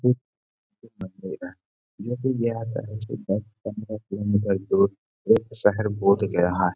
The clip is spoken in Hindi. शहर बोध गया है।